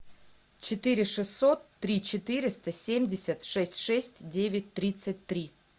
четыре шестьсот три четыреста семьдесят шесть шесть девять тридцать три